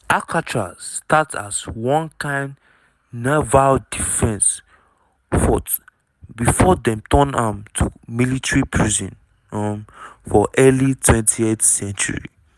alcatraz start as one kain naval defence fort before dem turn am to military prison um for early 20th century.